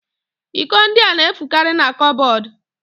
Iko ndị a na-efukarị n'kụpbọdụ